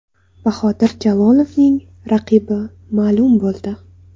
Bahodir Jalolovning raqibi ma’lum bo‘ldi.